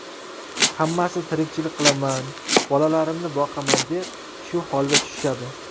Hammasi tirikchilik qilaman, bolalarimni boqaman deb shu holga tushishadi.